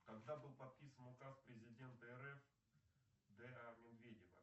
когда был подписан указ президента рф д а медведева